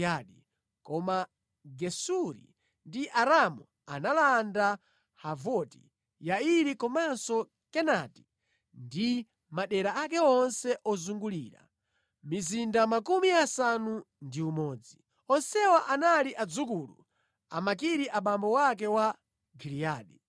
(Koma Gesuri ndi Aramu analanda Havoti Yairi komanso Kenati ndi madera ake onse ozungulira, mizinda makumi asanu ndi umodzi). Onsewa anali adzukulu, a Makiri abambo ake a Giliyadi.